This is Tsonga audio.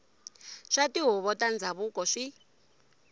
swa tihuvo ta ndhavuko swi